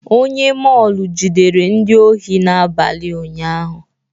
Onye mọọlụ jidere ndị ohi n'abalị ụnyaahụ.